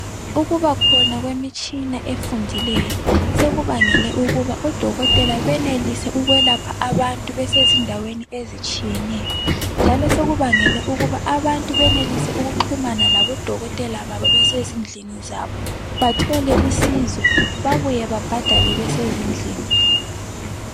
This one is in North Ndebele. ukubakhona kwemitshina efundileyo sekubangele ukuba odokotela benelise ukulapha abantu besizindaweni ezitshiyeneyo njalo sekubangele ukuba abantu benelise ukuxhumana labo dokotela babo besezindlini zabo bathole usizo babuye babhadale besezindlini